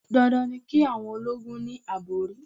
Dandan ni ki awon ológun ni àbòrí.